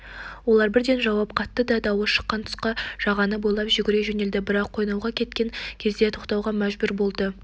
олар бірден жауап қатты да дауыс шыққан тұсқа жағаны бойлап жүгіре жөнелді бірақ қойнауға жеткен кезде тоқтауға мәжбүр болды